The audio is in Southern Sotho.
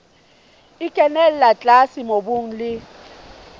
e kenella tlase mobung le